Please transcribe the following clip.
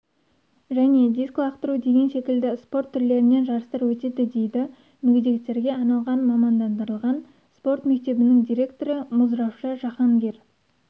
және дискі лақтыру деген секілді спорт түрлерінен жарыстар өтеді дейді мүгедектерге арналған мамандандырылған спорт мектебінің директоры мұззравша жахангер